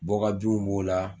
Bɔkabinw b'o la.